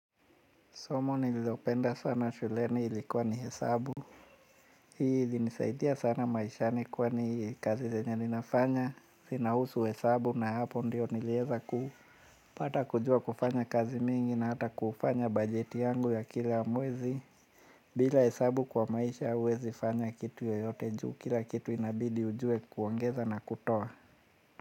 Somo nililopenda sana shuleni ilikuwa ni hesabu. Hii ilinisaidia sana maishani kwani kazi zenya ninafanya. Zinahusu hesabu na hapo ndio nilieza ku. Patakujua kufanya kazi mingi na hata kufanya bajeti yangu ya kila mwezi. Bila hesabu kwa maisha uwezi fanya kitu yoyote juu. Kila kitu inabidi ujue kuongeza na kutoa.